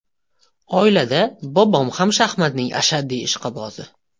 Oilada bobom ham shaxmatning ashaddiy ishqibozi.